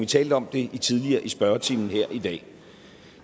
talte om det tidligere i spørgetimen her i dag